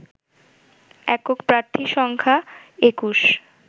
একক প্রার্থী সংখ্যা ২১